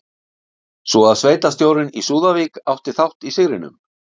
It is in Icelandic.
Svo að sveitarstjórinn í Súðavík átti þátt í sigrinum?